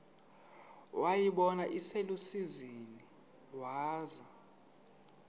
wayibona iselusizini waza